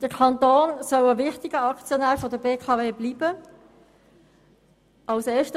Erstens soll der Kanton ein wichtiger Aktionär der BKW bleiben.